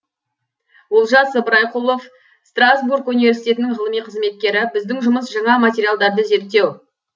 олжас ыбырайқұлов страсбург университетінің ғылыми қызметкері біздің жұмыс жаңа материалдарды зерттеу